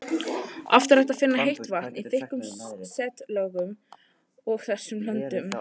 Oft er hægt að finna heitt vatn í þykkum setlögum í þessum löndum.